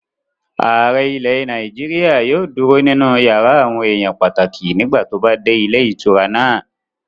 Ààrẹ ilẹ̀ Nàìjíríyà yóò dúró nínú yàrá àwọn èèyàn pàtàkì nígbà tó bá dé ilé ìtura náà